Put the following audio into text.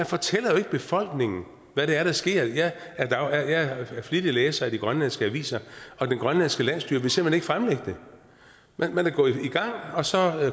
fortæller jo ikke befolkningen hvad det er der sker jeg er jeg er flittig læser af de grønlandske aviser og det grønlandske landsstyre vil simpelt hen ikke fremlægge det man er gået i gang og så